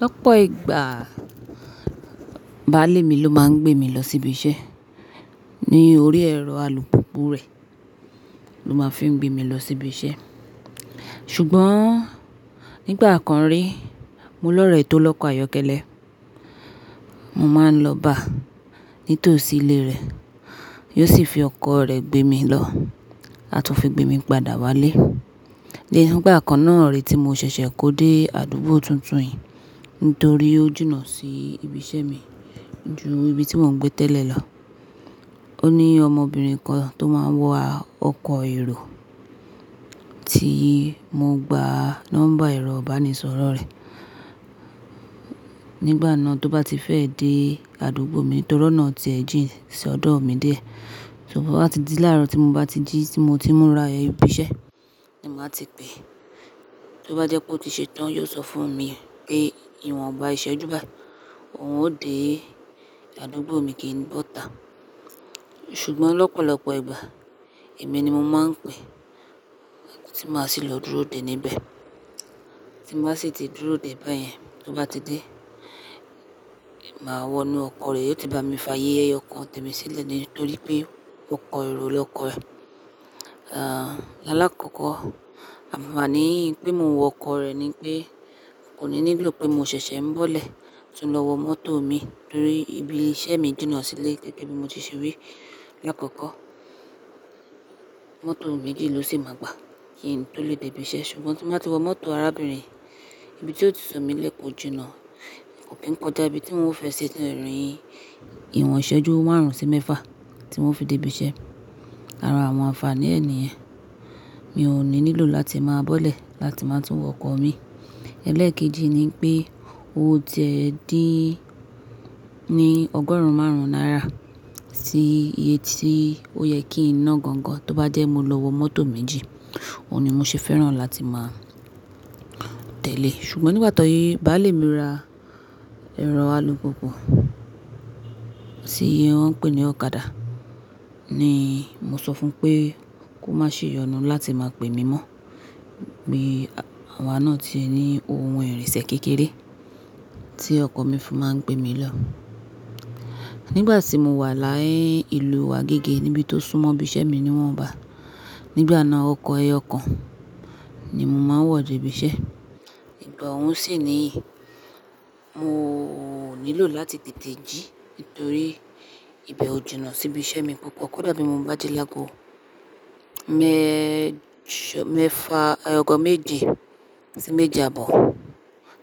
Lọ́pọ̀ ìgbà, baálé mi ló máa ń gbé mi lọ sí ibi iṣẹ́ ní orí ẹrọ alùpùpù rẹ̀ ló máa ń fi gbé mi lọ sí ibi iṣẹ́. Ṣùgbọ́n nígbà kan rí, mo lọ̀rẹ tó lọ́kọ ayokele. Mo máa ń lọ bá nítòsí ilé rẹ̀, yóò sì fi ọkọ̀ rẹ̀ gbé mi lọ àtún fi gbé mi padà wálé. Lẹ́yìn ní ìgbà kan náà rè tí mo ṣẹ̀ṣẹ̀ kó dé àdúgbò tuntun yìí nítorí ó jìnà sí ibi iṣẹ́ mi ju ibi tí mò ń gbé tẹ́lẹ̀ lọ. Ó ní ọmọbìnrin kan tó máa ń wọ ọkọ̀ èrò tí mo gba nọ́mbà ẹ̀rọ ìbánisọ̀rọ̀ rẹ̀. Nígbà náà tó bá ti fẹ́ dé àdúgbò mi torí ọ̀nà ti ẹ̀ jìn sí ọ̀dọ̀ mi díẹ̀. Ṣùgbọ́n láti dí láàrọ̀ tí mo bá ti jí tí mo ti ń múra ibi iṣẹ́ ni maa ti pè. Tó bá jẹ́ pé ó ti ṣe tán, yóò sọ fún mi pé ìwọ̀nba ìṣẹ́jú bàyi óhun ó dé àdúgbò mi kí n bọ́ta. Ṣùgbọ́n lọ́pọ̀lọ́pọ̀ ìgbà èmi ni mo máa ń pe tí màá sì lọ dúró dè níbẹ̀. Tí màá sì ti dúró dè báyẹn tó bá ti dé, màá wọnú ọkọ̀ rẹ̀, yóò ti bá mi fàaye eyookan tẹ́mi sílẹ̀ nítorí pé ọkọ̀ èrò lọkọ̀ rẹ̀. Àláàkọ̀kọ̀ ànfààní pé mo wọ ọkọ̀ rẹ̀ ni pé kò ní nílò pé mo ṣẹ̀ṣẹ̀ ń bọ́lẹ̀ tun lọ wọ mọ́tò mi nítorí ibi iṣẹ́ mi jìnà sílé gẹ́gẹ́ bí mo ti ṣe wí láàkọ́kọ́. Mọ́tò méjì ló sì máa gbà kí n tó lè dé ibi iṣẹ́. Ṣùgbọ́n tí màá ti wọ mọ́tò arábìnrin, ibi tí ó ti sọ mí lẹ́ kọ́ jìnà kò kí ń kojá ibí tí n o fẹ́ ṣe rìn ìwọ̀n ìṣẹ́jú márùn-ún sí mẹ́fà tí n o fi dé ibi iṣẹ́. Ara àwọn ànfààní ẹ̀ ni niyen. Mi ò ní nílò láti máa bọ́lẹ̀ láti máa tún wọ ọkọ̀ mi. Ẹlẹ́ẹ̀kejì ni pé ó tiẹ̀ dín ní ọgọ́rùn-ún márùn-ún náírà sí iye tí ó yẹ kín naá gangan tó bá jẹ́ mo lọ wọ mọ́tò méjì. Óhun ni mo ṣe fẹ́ràn láti máa tẹ̀lé. Ṣùgbọ́n nígbà ti báalè mi ra ẹ̀rọ alùpùpù tí wọ́n ń pè ní ọ̀kadà ni mo sọ fún un pé kó má ṣe yọnu láti máa pè mi mọ́. Ni àwa náà se ní ohun ìrìnsẹ̀ kékeré tí ọkọ̀ mi fi máa ń gbé mi lọ. Nígbà tí mo wà láyi ìlú wa agẹ́gẹ́ níbi tó súnmọ́ ibi iṣẹ́ mi niwọ́nbá. Nígbà náà ọkọ̀ ẹyọokan ni mo máa ń wọ dé ibi iṣẹ́. Ìgbà òhun sì ni mò nílò láti tètè jí nítorí ibẹ̀ ó jìnà sí ibi iṣẹ́ mi púpọ̀. Kódà bí mo bá ji láago mẹ́jọ, mẹ́fa, ọgọ́ méje sí méje àbọ̀